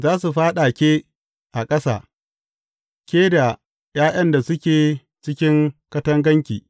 Za su fyaɗa ke a ƙasa, ke da ’ya’yan da suke cikin katanganki.